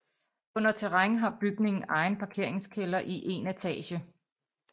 Under terræn har bygningen egen parkeringskælder i 1 etage